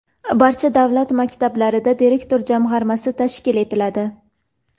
Barcha davlat maktablarida direktor jamg‘armasi tashkil etiladi.